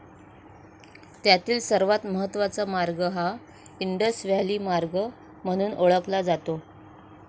त्यातील सर्वात महत्वाचा मार्ग हा इंडस व्हॅली मार्ग म्हणून ओळखला जातो.